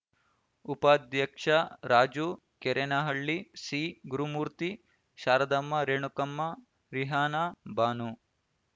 ಉಪಾಧ್ಯಕ್ಷ ರಾಜು ಕೆರೆನಹಳ್ಳಿ ಸಿ ಗುರುಮೂರ್ತಿ ಶಾರದಮ್ಮ ರೇಣುಕಮ್ಮ ರಿಹಾನಾ ಬಾನು